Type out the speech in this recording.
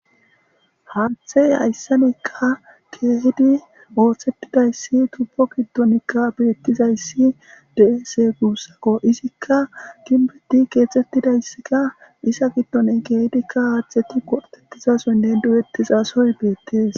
Haathey hayssanekka keehidi ooththettidayssi tupo kiddonikka beettizayssi de'ese guussako izikka ginbeti keexxettidayssikka isa giddoni keehidikka haatheti qortetizasoynne du'ettizasoy beettees.